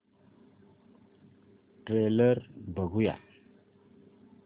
trailer बघूया